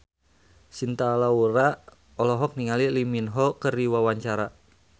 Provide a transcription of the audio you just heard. Cinta Laura olohok ningali Lee Min Ho keur diwawancara